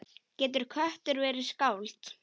Getur köttur verið skáld?